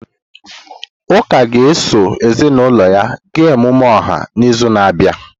Uka ga-eso ezinụlọ ya gaa emume ọha n'izu na-abịa.